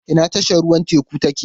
Ina tashar ruwan teku take?